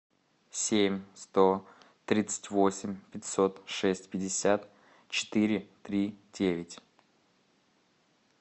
семь сто тридцать восемь пятьсот шесть пятьдесят четыре три девять